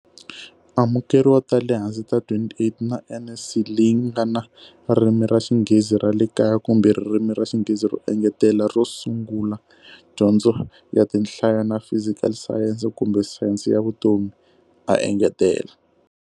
Amukeriwa ta le hansi ta 28 na NSC leyi nga na Ririmi ra Xinghezi ra le Kaya kumbe Ririmi ra Xinghezi ro Engetela ro Sungula, dyondzo ya tinhlayo, na fizikali sayense kumbe sayense ya vutomi, a engetela.